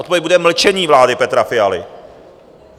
Odpověď bude mlčení vlády Petra Fialy.